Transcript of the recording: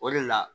O de la